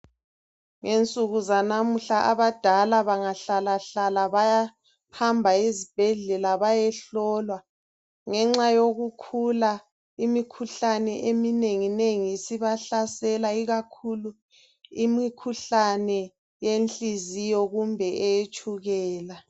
Ngensuku zanamuhla abadala bangahlalahlala bayahamba ezibhedlela bayehlolwa ngenxa yokukhula imikhuhlane eminenginengi isibahlasela ikakhulu imikhuhlane yenhliziyo kumbe eyetshukela.